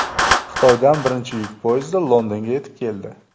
Xitoydan birinchi yuk poyezdi Londonga yetib keldi .